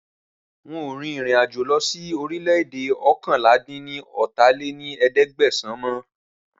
Rárá, ń ó rìn ìrìn-àjò lọ síí orílè-èdè oókànlá-dín-ní-ọ́ta lé ní ẹ̀ẹ́dẹ́gbẹ́sán mọ